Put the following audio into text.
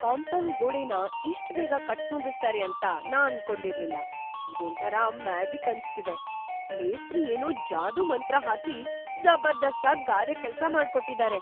Compound ಗೋಡೆನ ಇಷ್ಟ್‌ ಬೇಗ ಕಟ್ಟ್ ಮುಗಿಸ್ತಾರೆ ಅಂತ ನಾನ್‌ ಅನ್ಕೊಂಡಿರ್ಲಿಲ್ಲ. ಇದೊಂಥರ ಮ್ಯಾಜಿಕ್‌ ಅನ್ಸ್ತಿದೆ! ಮೇಸ್ತ್ರಿ ಏನೋ ಜಾದೂಮಂತ್ರ ಹಾಕಿ ಜಬರ್ದಸ್ತಾಗ್ ಗಾರೆ ಕೆಲ್ಸ ಮಾಡ್ಕೊಟ್ಟಿದಾರೆ.